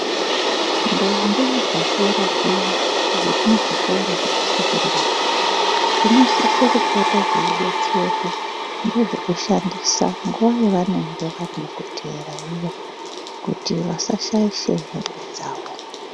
Ndombi dzakura zviya dzemuzvikora dzinosisa kunge dzeidetserwa nezvekushandisa nguwa yavenge vari mukuteera iyani Kuti vasashaisha hembe dzawo.